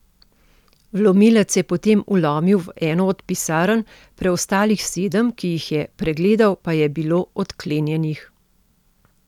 Vlomilec je potem vlomil v eno od pisarn, preostalih sedem, ki jih je pregledal, pa je bilo odklenjenih.